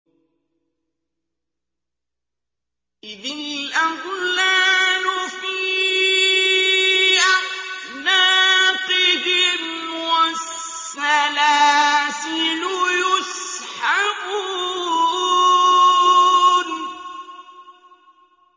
إِذِ الْأَغْلَالُ فِي أَعْنَاقِهِمْ وَالسَّلَاسِلُ يُسْحَبُونَ